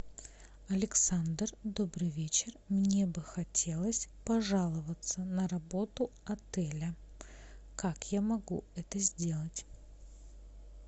александр добрый вечер мне бы хотелось пожаловаться на работу отеля как я могу это сделать